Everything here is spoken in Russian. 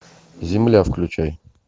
земля включай